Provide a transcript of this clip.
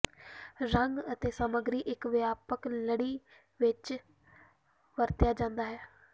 ਰੰਗ ਅਤੇ ਸਮੱਗਰੀ ਇੱਕ ਵਿਆਪਕ ਲੜੀ ਵਿੱਚ ਵਰਤਿਆ ਜਾਦਾ ਹੈ